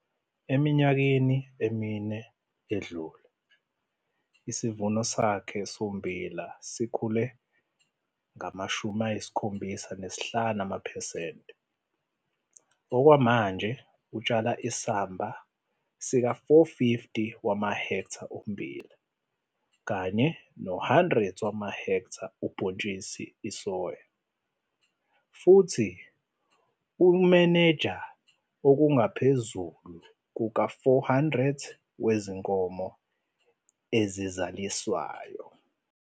Eminyakeni emine edlule isivuno sakhe sommbila sikhule ngo-75 percent. Okwamanje utshala isamba sika-450 ha ommbila futhi u-100 ha ubhontshisi isoya futhi umenenja okungaphezulu kuka-400 wezinkomo ezizalaniswayo.